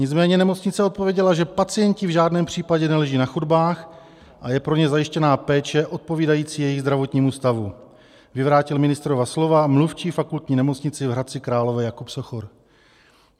Nicméně nemocnice odpověděla, že pacienti v žádném případě neleží na chodbách a je pro ně zajištěna péče odpovídající jejich zdravotnímu stavu, vyvrátil ministrova slova mluvčí Fakultní nemocnice v Hradci Králové Jakub Sochor.